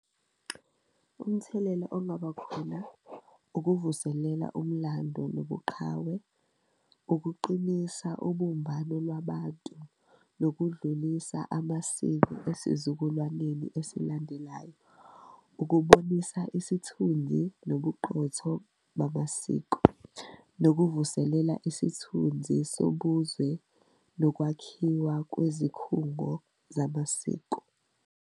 Umthelela ongaba khona ukuvuselela umlando nobuqhawe, ukuqinisa ubumbano lwabantu, nokudlulisa amasiko esizukulwaneni esilandelayo, ukubonisa isithunzi nobuqotho bamasiko, nokuvuselela isithunzi sobuzwe, nokwakhiwa kwezikhungo zamasiko.